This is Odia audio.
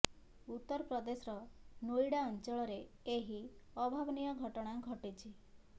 ଉତ୍ତର ପ୍ରଦେଶର ନୋଇଡ଼ାର ଅଞ୍ଚଳରେ ଏହି ଅଭାବନୀୟ ଘଟଣା ଘଟିଛି